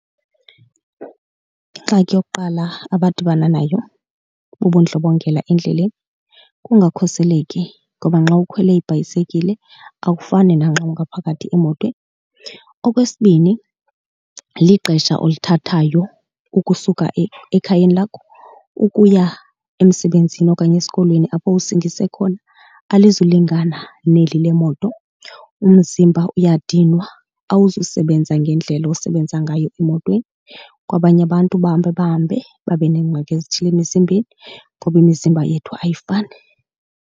Ingxaki yokuqala abadibana nayo bubudlobongela endleleni kungakhuseleki ngoba nxa ukhwele ibhayisekile akufani nanxa ungaphakathi emotweni. Okwesibini lixesha olithathayo ukusuka ekhayeni lakho ukuya emsebenzini okanye esikolweni apho usingise khona alizulungana neli le moto. Umzimba uyadinwa, awuzusebenza ngendlela osebenza ngayo emotweni. Kwabanye abantu bahambe bahambe babe neengxaki ezithile emizimbeni ngoba imizimba yethu ayifani.